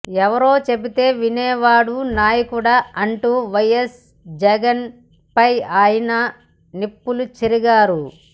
ఎవరో చెబితే వినేవాడు నాయకుడా అంటూ వైఎస్ జగన్పై ఆయన నిప్పులు చెరిగారు